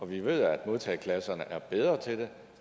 vi ved at modtageklasserne er bedre til det